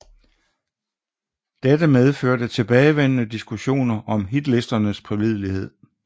Dette medførte tilbagevendende diskussioner om hitlisternes pålidelighed